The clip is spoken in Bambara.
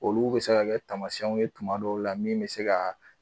Olu bɛ se ka kɛ taamasiyɛnw ye tuma dɔw la min bɛ se ka